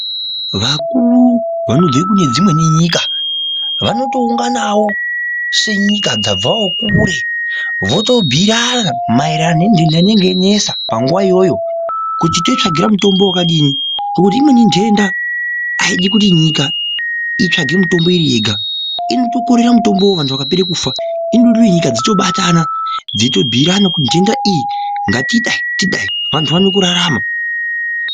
Vakuru vanobve kune dzimweni nyika vanotounganavo senyika dzabvavo kure. Votombuirana maererano nentenda inenge yeinesa panguva iyoyo. Kuti toitsvagira mutombo vakadini imweni ntenda haidi kuti nyika itsvage mitombo iri yega inotokorera mutomboo vantu vakatopere kufu. Inoita kuti nyika dzeitobatana dzeitombuirana kuti nyenda iyi ngatidai-tidai vantu vaone kurarama.